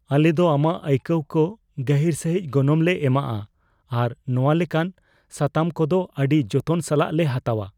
ᱟᱞᱮ ᱫᱚ ᱟᱢᱟᱜ ᱟᱹᱭᱠᱟᱹᱣ ᱠᱚ ᱜᱟᱹᱦᱤᱨ ᱥᱟᱹᱦᱤᱡ ᱜᱚᱱᱚᱝ ᱞᱮ ᱮᱢᱟᱜᱼᱟ ᱟᱨ ᱱᱚᱶᱟ ᱞᱮᱠᱟᱱ ᱥᱟᱛᱟᱢ ᱠᱚᱫᱚ ᱟᱹᱰᱤ ᱡᱚᱛᱚᱱ ᱥᱟᱞᱟᱜ ᱞᱮ ᱦᱟᱛᱟᱣᱟ ᱾